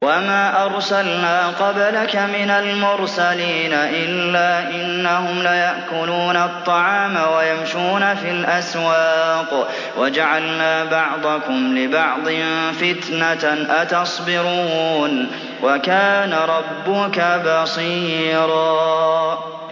وَمَا أَرْسَلْنَا قَبْلَكَ مِنَ الْمُرْسَلِينَ إِلَّا إِنَّهُمْ لَيَأْكُلُونَ الطَّعَامَ وَيَمْشُونَ فِي الْأَسْوَاقِ ۗ وَجَعَلْنَا بَعْضَكُمْ لِبَعْضٍ فِتْنَةً أَتَصْبِرُونَ ۗ وَكَانَ رَبُّكَ بَصِيرًا